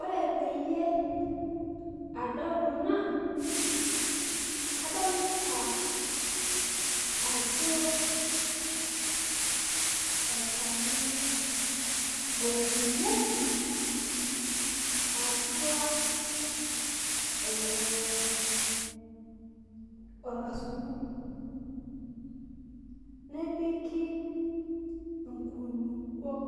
Ore peyie adol kuna kadolita ajo olchani ele otuunieki atua orkasuku nepiki nkulukuok